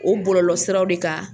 O bɔlɔlɔsiraw de kan